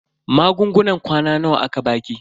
Magungunan kwana nawa aka baki?